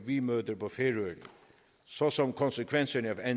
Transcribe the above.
vi møder på færøerne såsom konsekvenserne af